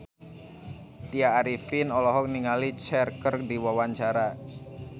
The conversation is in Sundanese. Tya Arifin olohok ningali Cher keur diwawancara